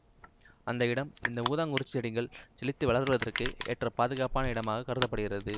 அந்த இடம் இந்த ஊதாக்குறிஞ்சிச்செடிகள் செழித்த வளருவதற்கு ஏற்ற பாதுகாப்பான இடமாகக்கருதப்படுகிறது